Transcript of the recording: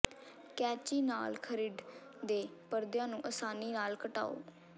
ਕੈਚੀ ਨਾਲ ਥਰਿੱਡ ਦੇ ਪਰਦਿਆਂ ਨੂੰ ਆਸਾਨੀ ਨਾਲ ਘਟਾਓ